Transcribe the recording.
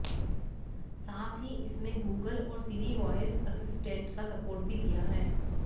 साथ ही इसमें गूगल और सिरी वॉयस असिस्टेंट का सपोर्ट भी दिया है